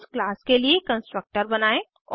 उस क्लास के लिए कंस्ट्रक्टर बनायें